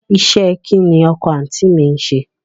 Iṣẹ́ ẹ kín ni ọkọ àǹtí mi ń ṣe?